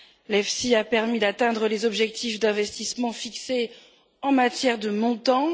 L'EFSI a permis d'atteindre les objectifs d'investissement fixés en matière de montants.